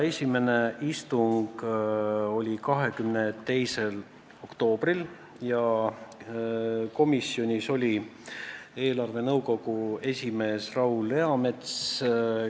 Esimene istung oli 22. oktoobril, kuhu oli kutsutud eelarvenõukogu esimees Raul Eamets.